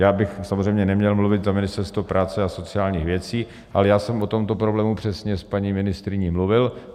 Já bych samozřejmě neměl mluvit za Ministerstvo práce a sociálních věcí, ale já jsem o tomto problému přesně s paní ministryní mluvil.